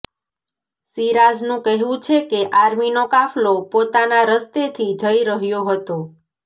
સિરાજનું કહેવું છે કે આર્મીનો કાફલો પોતાના રસ્તેથી જઈ રહ્યો હતો